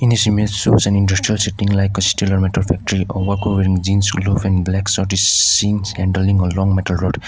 in this image shows an industrial setting like steel metal factory over covering a jeans blue and black suit is seen scandralling a long metal rod.